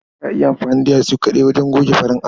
Za a iya amfani da yatsu kaɗai wajen goge farin allo.